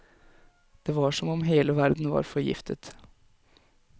Det var som om hele verden var forgiftet.